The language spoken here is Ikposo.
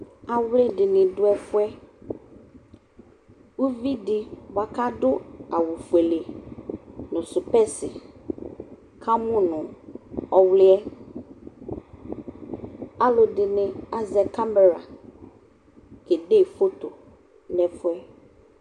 awli di ni do ɛfu yɛ uvi di boa k'adu awu fuele no spɛsi ka mu no ɔwli yɛ alò ɛdini azɛ kamɛra kede foto n'ɛfu yɛ